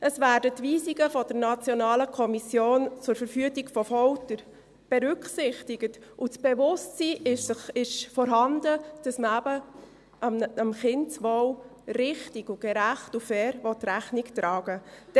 Es werden die Weisungen der Nationalen Kommission zur Verhütung von Folter (NKVF) berücksichtigt, und das Bewusstsein ist vorhanden, dass man eben dem Kindeswohl richtig, gerecht und fair Rechnung tragen will.